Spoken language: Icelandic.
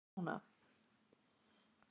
Sveinar, hvað er opið lengi á laugardaginn?